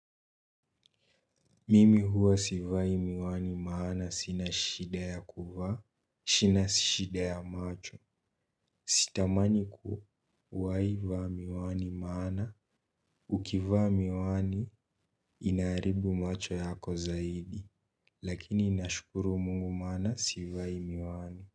Mimi huwa sivai miwani maana sina shida ya kuvaa, sina shida ya macho, sitamani kuwaivaa miwani maana, ukivaa miwani inaharibu macho yako zaidi, lakini nashukuru mungu maana sivai miwani.